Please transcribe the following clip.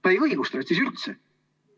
Ta ei õigusta ennast siis üldse.